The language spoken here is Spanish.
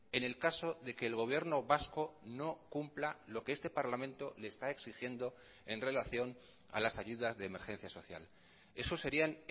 en el caso de que el gobierno vasco no cumpla lo que este parlamento le está exigiendo en relación a las ayudas de emergencia social eso serían